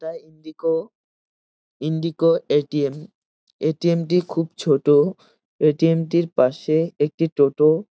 এটা Indigo Indigo ATM.. ATM. টি খুব ছোট। এ.টি.এম. টির পাশে একটি টোটো।